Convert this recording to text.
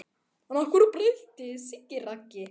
En hverju breytti Siggi Raggi?